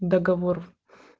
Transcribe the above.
договор